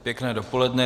Pěkné dopoledne.